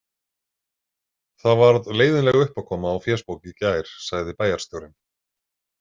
Það varð leiðinleg uppákoma á fésbók í gær, sagði bæjarstjórinn.